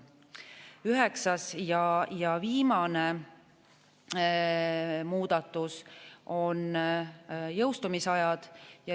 Üheksas ja viimane muudatus on jõustumise ajad.